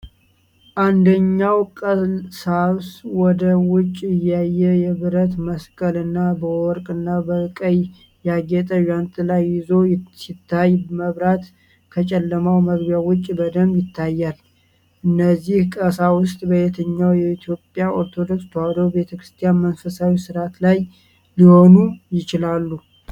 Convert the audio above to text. አንደኛው ቀሳስ ወደ ውጭ እያየ የብረት መስቀል እና በወርቅና በቀይ ያጌጠ ዣንጥላ ይዞ ሲታይ፣ መብራት ከጨለማው መግቢያ ውጭ በደንብ ይታያል። እነዚህ ቀሳውስት ፣ በየትኛው የኢትዮጵያ ኦርቶዶክስ ተዋህዶ ቤተክርስቲያን መንፈሳዊ ሥርዓት ላይ ሊሆኑ ይችላሉ?